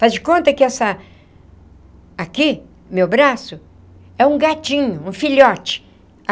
Faz de conta que essa... Aqui, meu braço, é um gatinho, um filhote.